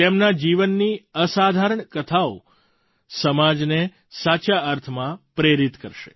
તેમના જીવનની અસાધારણ કથાઓ સમાજને સાચા અર્થમાં પ્રેરિત કરશે